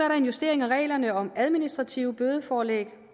der en justering af reglerne om administrative bødeforelæg